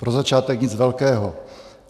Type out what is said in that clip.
Pro začátek nic velkého.